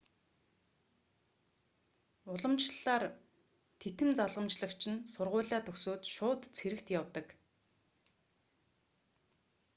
уламжлалаар титэм залгамжлагч нь сургуулиа төгсөөд шууд цэрэгт явдаг